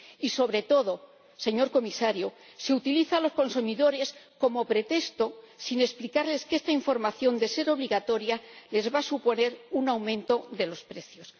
Y, sobre todo, señor Comisario, se utiliza a los consumidores como pretexto, sin explicarles que esta información, de ser obligatoria, les va a suponer un aumento de los precios.